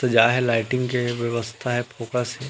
सजाये लाइटिंग व्यवस्था हे फोकस हे।